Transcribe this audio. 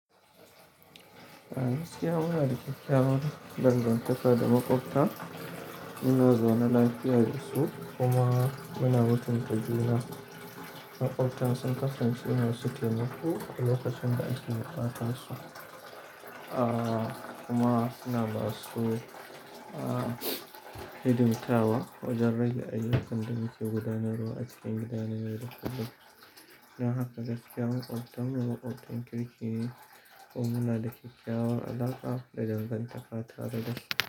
Ah gaskiya munada kyakkyawar dangantaka da makwabta, muna zaune lafiyarsu kuma muna bautan kajuna. Makwabta sun kasance masu taimako a lokacin da ake buƙatar su. Ah kuma suna basu ah hidimtawa, wajen rage ayyukan da muke gudanarwa a cikin gidan na yau da kullum. Dan haka gaskiya makwabta, mu makwabtan kirki ne kuma muna da kyakkyawar alaƙa da dangantaka tare da su.